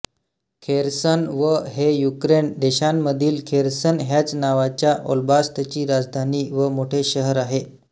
Kherson व हे Ukraine देशामधील खेर्सन ह्याच नावाच्या ओब्लास्तची राजधानी व मोठे शहर आहे